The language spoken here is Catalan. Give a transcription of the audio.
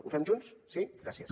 ho fem junts sí gràcies